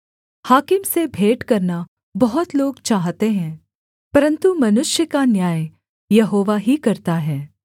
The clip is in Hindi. हाकिम से भेंट करना बहुत लोग चाहते हैं परन्तु मनुष्य का न्याय यहोवा ही करता है